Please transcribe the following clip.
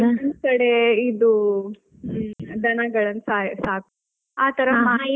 ಇನ್ನೊಂದು ಕಡೆ ಇದು ಹ್ಮ್ ದನಗಳನ್ನು ಸಾಕ್~ ಸಾಕುದು ಆತರ .